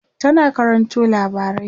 tana karanto labarai